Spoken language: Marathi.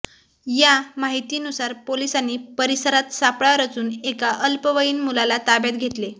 या माहितीनुसार पोलिसांनी परिसरात सापळा रचून एका अल्पवयीन मुलाला ताब्यात घेतले